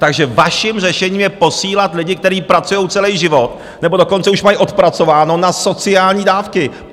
Takže vaším řešením je posílat lidi, kteří pracujou celej život, nebo dokonce už mají odpracováno, na sociální dávky!